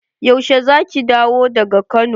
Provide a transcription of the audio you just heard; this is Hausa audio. Yaushe za ki dawo daga Kano?